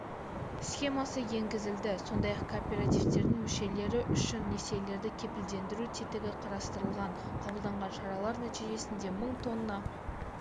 схемасы енгізілді сондай-ақ кооперативтердің мүшелері үшін несиелерді кепілдендіру тетігі қарастырылған қабылданған шаралар нәтижесінде мың тонна